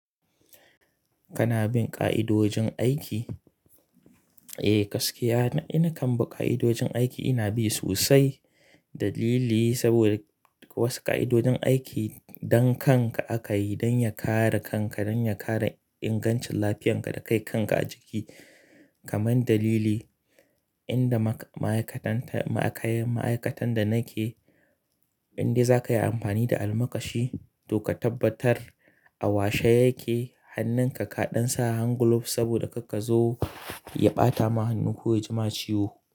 Kana bin ƙa'idojin aiki? Eh, gaskiya na kan bi ƙa'idojin aiki ina bi sosai. Dalili saboda wasu ƙa'idojin aiki don kanka aka yi, don ya kare kanka, don ya kare ingancin lafiyarka da kai kanka a jiki. Kaman dalili, inda ma'aikatan da nake, indai za ka yi amfani da almakashi to ka tabbatar a washe yake. Hannunka kaɗan sa hand glove saboda kar kazo ya ɓata ma hannu ko ya ji ma ciwo.